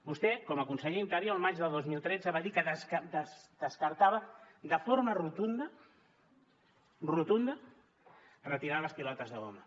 vostè com a conseller d’interior el maig de dos mil tretze va dir que descartava de forma rotunda rotunda retirar les pilotes de goma